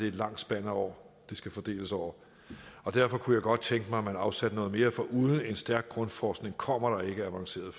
et langt spand af år det skal fordeles over og derfor kunne jeg godt tænke mig at man afsatte noget mere for uden stærk grundforskning kommer der ikke avanceret